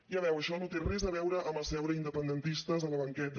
ja veu això no té res a veure amb asseure independentistes a la banqueta